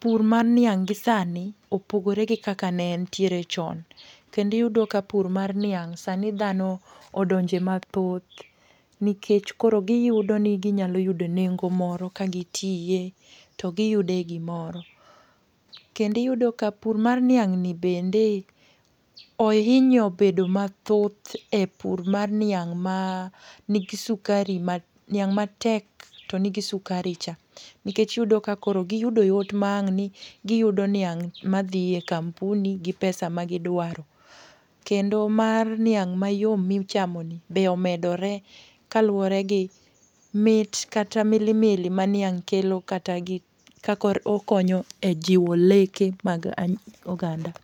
pur mar niang' gi sani opogore gi kaka ne entiere chon. Kendo iyudo ka pur mar niang', sani dhano odonje mathoth. Nikech koro giyudo ni ginyalo yudo nengo moro ka gitiye to giyude gimoro. Kendo iyudo ka pur mar niang' ni bende, ohinyo bedo mathoth e pur mar niang' ma ni gi sukari mar, niang' matek to ni gi sukaricha. Nikech iyudo ka koro giyudo yot maang'ni giyudo niang' madhiye kampuni, gi pesa ma gidwaro. Kendo mar niang' mayom michamoni be omedore, kaluwore gi mit kata milimili ma niang' kelo kata gi kaka okonyo e jiwo leke mag oganda.